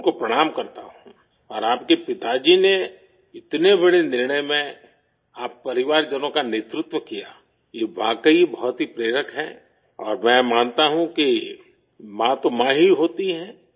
میں ان کو پرنام کرتا ہوں اور آپ کے والد نے اتنے بڑے فیصلہ میں، آپ کی فیملی کے لوگوں کی قیادت کی، یہ واقعی بہت ہی حوصلہ افزا ہے اور میں مانتا ہوں کہ ماں تو ماں ہی ہوتی ہے